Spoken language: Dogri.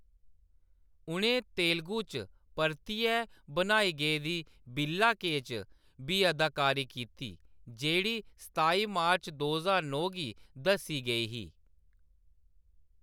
उʼनें तेलगू च परतियै बनाई गेदी बिल्ला के च बी अदाकारी कीती, जेह्‌‌ड़ी सताई मार्च दो ज्हार नौ गी दस्सी गेई ही।